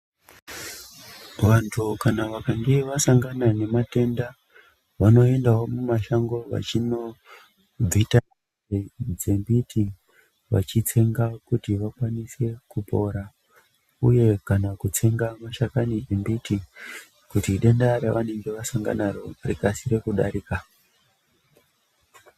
Vantu kana vakange vasangana nematenda vanoendawo mumashango vachinobvita midzi dzembiti vechitsenga kuti vakwanise kupora uye kana kutsenga mashakani embiti kuti denda revanenge vasangana naro rikasike kudarika.